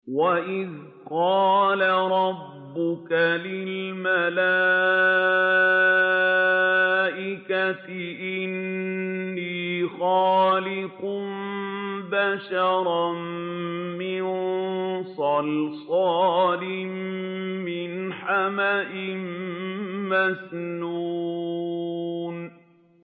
وَإِذْ قَالَ رَبُّكَ لِلْمَلَائِكَةِ إِنِّي خَالِقٌ بَشَرًا مِّن صَلْصَالٍ مِّنْ حَمَإٍ مَّسْنُونٍ